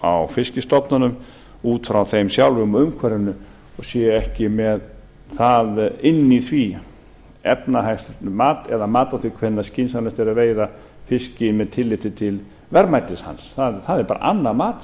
á fisksitfonunum út frá þeim sjálfum og umhverfinu og séu ekki með það inni í því efnahagslegt mat eða mat á því hvenær skynsamlegt er að veiða fiskinn með tilliti til verðmætis hans það er bara annað mat